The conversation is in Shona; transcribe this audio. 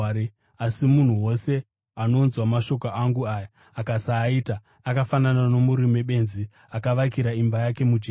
Asi munhu wose anonzwa mashoko angu aya akasaaita, akafanana nomurume benzi akavakira imba yake mujecha.